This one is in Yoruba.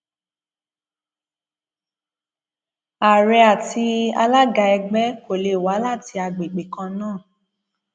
ààrẹ àti alága ẹgbẹ kò lè wá láti àgbègbè kan náà